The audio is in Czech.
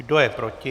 Kdo je proti?